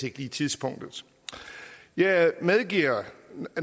ikke lige tidspunktet jeg medgiver